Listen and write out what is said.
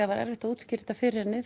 var erfitt að útskýra þetta fyrir henni